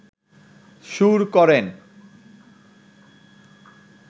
সুর করেন